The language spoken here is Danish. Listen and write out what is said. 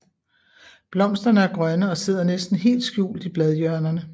Blomsterne er grønne og sidder næsten helt skjult i bladhjørnerne